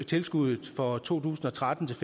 tilskuddet for to tusind og tretten til